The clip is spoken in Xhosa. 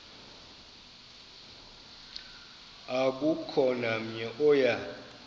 akukho namnye oya